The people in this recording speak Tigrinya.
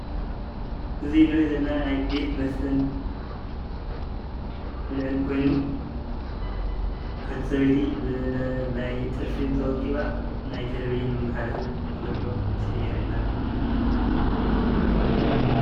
እዙይ እንሪኦ ዘለና ናይ ቤት መስተን ብልዕን ኾይኑ ሓንቲ ሰበይቲ ብናይጥልፊ ተወቂባ ብናይ ቴልቪዥን ይመሓለፉ ክም ዘሎ ምስሊ ይርአየና ኣሎ።